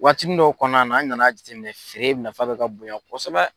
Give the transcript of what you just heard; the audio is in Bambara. Waatinin dɔw kɔnɔna an nana jate minɛ feere nafa bɛ ka bonya kosɛbɛ.